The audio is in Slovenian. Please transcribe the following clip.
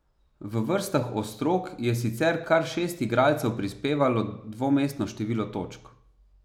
V vrstah ostrog je sicer kar šest igralcev prispevalo dvomestno število točk.